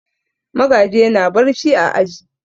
Magaji yana barci a aji.